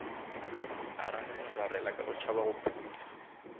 a rarelararela ka go tšhabagophula